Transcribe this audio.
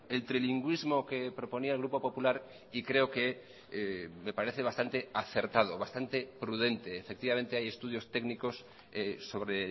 el trilingüismo que proponía el grupo popular y creo que me parece bastante acertado bastante prudente efectivamente hay estudios técnicos sobre